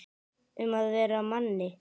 Um að vera Manni!